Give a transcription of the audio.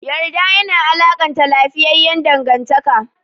Yarda yana alakanta lafiyayyan dangantaka.